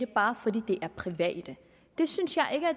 bare fordi de er private